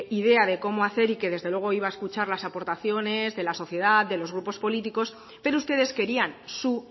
idea de cómo hacer y que desde luego iba a escuchar las aportaciones de la sociedad de los grupos políticos pero ustedes querían su